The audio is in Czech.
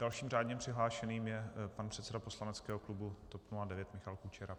Dalším řádně přihlášeným je pan předseda poslaneckého klubu TOP 09 Michal Kučera.